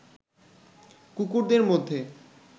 কুকুরদের মধ্যে